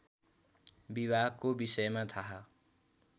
विवाहको विषयमा थाहा